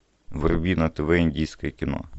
вруби на тв индийское кино